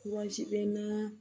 bɛ naa